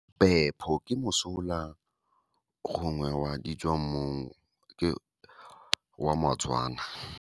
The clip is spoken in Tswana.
Pepho ke mosola gongwe wa ditswang mmung, ke wa maTswana.